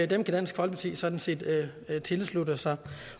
kan dansk folkeparti sådan set tilslutte sig